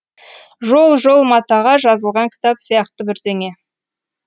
жол жол матаға жазылған кітап сияқты бірдеңе